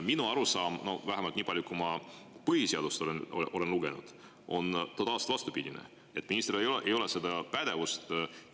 Minu arusaam, vähemalt selle põhjal, kui palju ma põhiseadust olen lugenud, on totaalselt vastupidine: ministril ei ole seda pädevust.